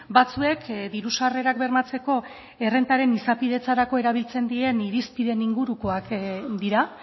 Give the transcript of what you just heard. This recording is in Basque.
batzuek diru sarrerak bermatzeko errentaren izapidetzerako erabiltzen diren irizpideen ingurukoak dira